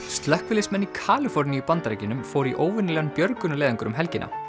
slökkviliðsmenn í Kaliforníu í Bandaríkjunum fóru í óvenjulegan björgunarleiðangur um helgina